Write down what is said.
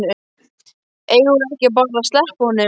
Eigum við ekki bara að sleppa honum?